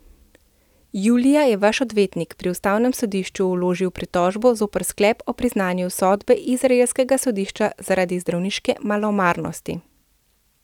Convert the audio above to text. Julija je vaš odvetnik pri ustavnem sodišču vložil pritožbo zoper sklep o priznanju sodbe izraelskega sodišča zaradi zdravniške malomarnosti.